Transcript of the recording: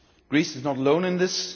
Greece is not alone in this.